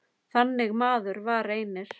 Þannig maður var Reynir.